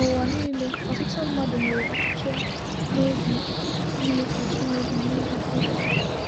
N’ụwa niile, ọtụtụ mmadụ nwere ọchịchọ n’obi ime ka Chineke nwee afọ ojuju.